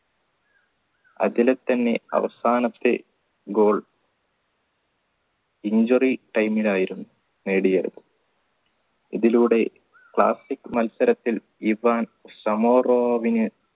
അതിൽ തന്നെ അവസാനത്തെ goal injury time ൽ ആയിരുന്നു നേടിയത് ഇതിലൂടെ classic മത്സരത്തിൽ ഇവൻ സാമൂറാവിന്